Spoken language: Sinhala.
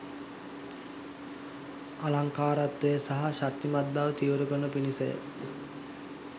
අලංකාරත්වය සහ ශක්තිමත් බව තීව්‍ර කරනු පිණිසය.